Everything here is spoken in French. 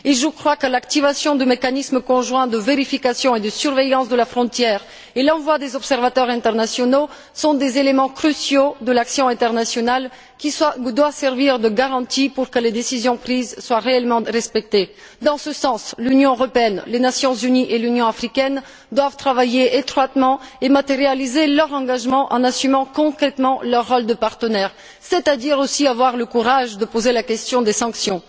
Et je crois que l'activation du mécanisme conjoint de vérification et de surveillance de la frontière et l'envoi des observateurs internationaux sont des éléments cruciaux de l'action internationale qui doivent servir de garanties pour que les décisions prises soient réellement respectées. L'Union européenne, les Nations unies et l'Union africaine doivent travailler étroitement dans ce sens et matérialiser leur engagement en assumant concrètement leur rôle de partenaire, et donc avoir aussi le courage de poser la question des sanctions.